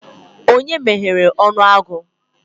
Onye meghere onu agu?